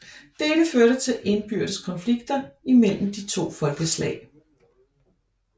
Dette førte til indbyrdes konflikter mellem de to folkeslag